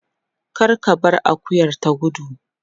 Kar ka bar akuyar ta gudu.